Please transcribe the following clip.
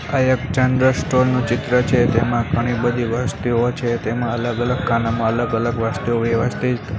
આ એક general store નુ ચિત્ર છે તેમા ઘણી બધી વસ્તુઓ છે તેમા અલગ અલગ ખાનામાં અલગ અલગ વસ્તુઓ વ્યવસ્થિત--